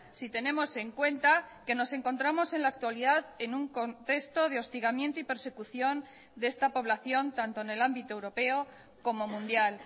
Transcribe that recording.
si tenemos en cuenta que nos encontramos en la actualidad en un contexto de hostigamiento y persecución de esta población tanto en el ámbito europeo como mundial